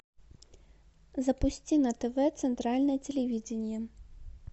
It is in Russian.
запусти на тв центральное телевидение